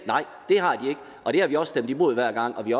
og det har vi også stemt imod hver gang og vi